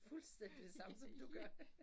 Fuldstændig det samme som du gør